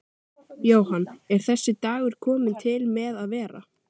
Jóhann: Er þessi dagur kominn til með að vera?